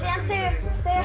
hver